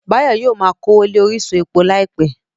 Báyọ̀ yóò ma kówó lé orísun epo láìpẹ́